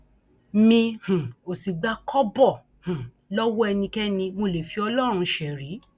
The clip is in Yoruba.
mi um ò sì gba kọbọ um lọwọ ẹnikẹni mo lè fi ọlọrun ṣerí